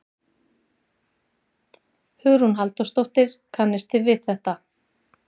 Hugrún Halldórsdóttir: Kannist við þetta?